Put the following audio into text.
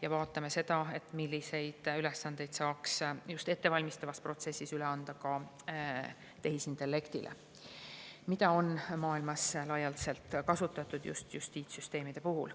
Me vaatame, milliseid ülesandeid saaks just ettevalmistavas protsessis üle anda tehisintellektile, mida on maailmas laialdaselt kasutatud ka justiitssüsteemide puhul.